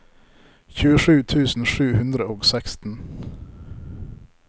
tjuesju tusen sju hundre og seksten